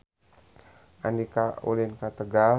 Andika ulin ka Tegal